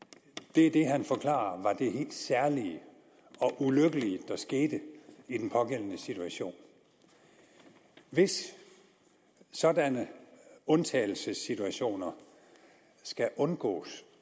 det er det han forklarer var det helt særlige og ulykkelige der skete i den pågældende situation hvis sådanne undtagelsessituationer skal undgås